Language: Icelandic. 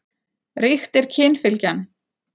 Ríkt er kynfylgjan.